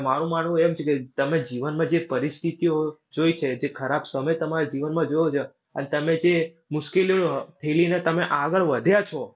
મારું માનવું એમ છે કે તમે જીવનમાં જે પરિસ્થિતિઓ જોઈ છે. જે ખરાબ સમય તમારા જીવનમાં જોયો છો. અને તમે જે મુશ્કેલીઓ ઠેલીને તમે આગળ વધ્યા છો.